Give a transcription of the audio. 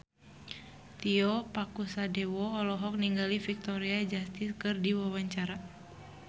Tio Pakusadewo olohok ningali Victoria Justice keur diwawancara